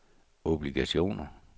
obligationer